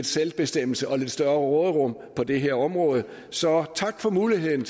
selvbestemmelse og lidt større råderum på det her område så tak for muligheden